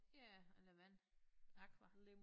Ja eller vand aqua